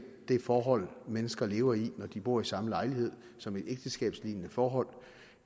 det forhold mennesker lever i når de bor i samme lejlighed som et ægteskabslignende forhold